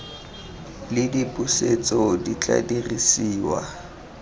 le dipusetso di tla dirisiwa